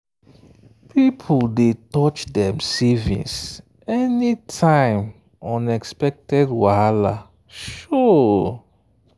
people dey touch dem savings any time unexpected wahala show.